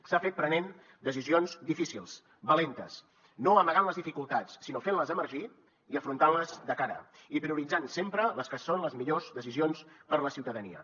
s’ha fet prenent decisions difícils valentes no amagant les dificultats sinó fentles emergir i afrontant les de cara i prioritzant sempre les que són les millors decisions per la ciutadania